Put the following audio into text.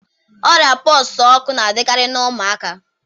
Ọrịa pox ọkụ na-adịkarị na ụmụaka